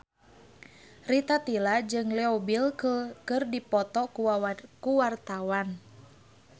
Rita Tila jeung Leo Bill keur dipoto ku wartawan